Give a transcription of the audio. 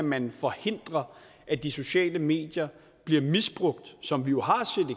man kan forhindre at de sociale medier bliver misbrugt som vi jo har